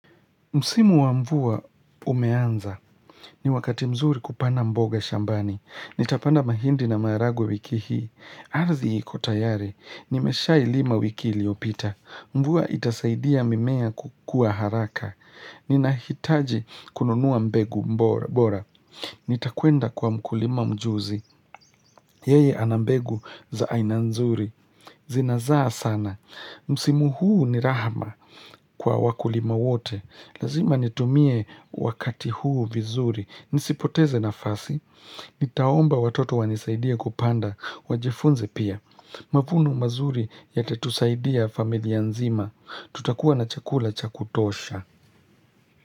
Msimu wa mvua umeanza. Ni wakati mzuri kupana mboga shambani. Nitapanda mahindi na maharagwe wiki hii. Ardhi iko tayari. Nimesha ilima wiki liyopita. Mvua itasaidia mimea kukua haraka. Ninahitaji kununua mbegu bora. Nitakwenda kwa mkulima mjuzi. Yeye ana mbegu za aina nzuri. Zinazaa sana. Msimu huu ni rahama kwa wakulima wote. Lazima nitumie wakati huu vizuri. Nisipoteze nafasi. Nitaomba watoto wanisaidie kupanda. Wajifunze pia. Mavuno mazuri yatatusaidia familia nzima. Tutakuwa na chakula cha kutosha.